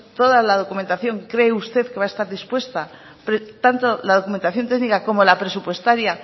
toda la documentación cree usted que va a estar dispuesta tanto la documentación técnica como la presupuestaria